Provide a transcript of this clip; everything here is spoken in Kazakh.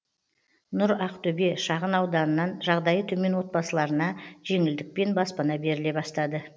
нұр ақтөбе шағын ауданынан жағдайы төмен отбасыларына жеңілдікпен баспана беріле бастады